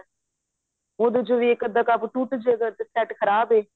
ਉਹਦੇ ਚ ਵੀ ਇੱਕ ਅਧਾ ਕੱਪ ਟੁੱਟ ਜੇਗਾ ਤਾਂ set ਖ਼ਰਾਬ ਹੋ ਜਾਂਦਾ